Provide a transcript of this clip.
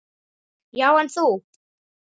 Já, en þú.